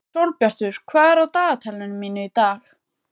Sólbjartur, hvað er á dagatalinu mínu í dag?